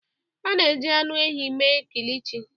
A na-eji anụ ehi mee Kilichi